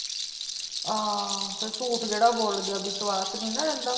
ਆ ਫ਼ੇਰ ਝੂਠ ਜਿਹੜਾ ਬੋਲ ਗਿਆ ਵਿਸ਼ਵਾਸ ਨਹੀਂ ਨਾ ਰਹਿੰਦਾ।